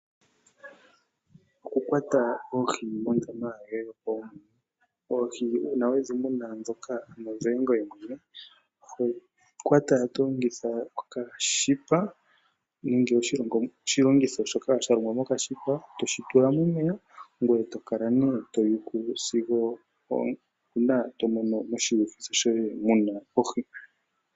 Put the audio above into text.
Okukwata oohi mondama, mondama yoye yopaumwene. Oohi uuna wedhimuna dhoka dhoye ngoye mwene oho dhi kwata to longitha okashipa nenge oshilongitho shoka sha longwa mokashipa, toshitula momeya ngoye tokala to yuku sigo uuna tomono moshilongitho shoye muna oohi.